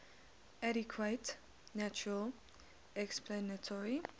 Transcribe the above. adequate natural explanatory